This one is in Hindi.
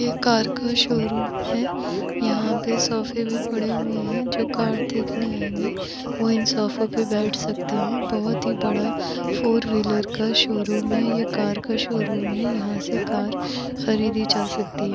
ये कार का शोरूम है यहाँ पे सोफे भी पड़े हुए है जो कार देखने आएंगे वो इन सोफों पे बैठ सकता है बहुत ही बड़ा फोरव्हीलर का शोरूम है कार का शोरूम है यहाँ से कार खरीदि जा सकती है।